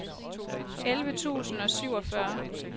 elleve tusind og syvogfyrre